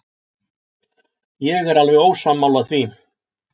Ég er alveg ósammála því.